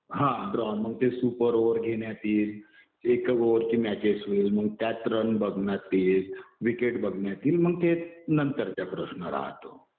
हा ड्रॉ. मग ते सुपर ओव्हर घेण्यात येईल. एक ओव्हरची मॅचेस होईल. मग त्यात रन बघणार ते. विकेट बघण्यात येईल. मग ते नंतरचा प्रश्न राहतो.